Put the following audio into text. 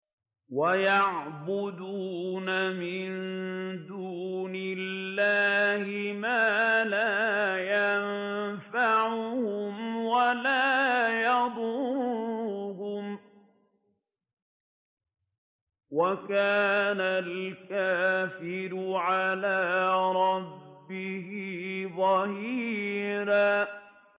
وَيَعْبُدُونَ مِن دُونِ اللَّهِ مَا لَا يَنفَعُهُمْ وَلَا يَضُرُّهُمْ ۗ وَكَانَ الْكَافِرُ عَلَىٰ رَبِّهِ ظَهِيرًا